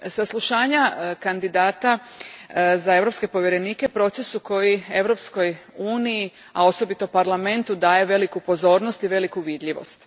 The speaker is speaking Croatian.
Saslušanja kandidata za europske povjerenike proces je koji Europskoj uniji, a osobito Parlamentu, daje veliku pozornost i veliku vidljivost.